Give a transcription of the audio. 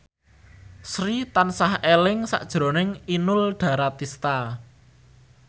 Sri tansah eling sakjroning Inul Daratista